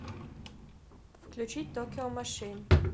включить токио машин